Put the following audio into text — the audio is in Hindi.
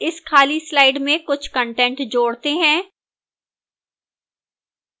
इस खाली slides में कुछ कंटेंट जोड़ते हैं